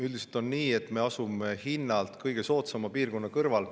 Üldiselt on nii, et me asume hinnalt kõige soodsama piirkonna kõrval.